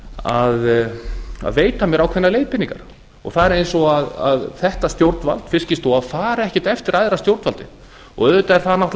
að veita mér ákveðnar leiðbeiningar það er eins og þetta stjórnvald fiskistofa fari ekkert eftir æðra stjórnvaldi auðvitað er það náttúrlega